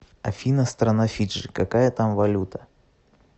афина страна фиджи какая там валюта